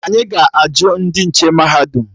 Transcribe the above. Anyị ga-ajụ ndị nche mahadum